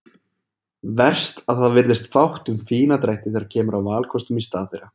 Verst að það virðist fátt um fína drætti þegar kemur að valkostum í stað þeirra.